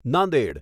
Nanded